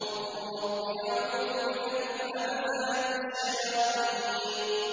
وَقُل رَّبِّ أَعُوذُ بِكَ مِنْ هَمَزَاتِ الشَّيَاطِينِ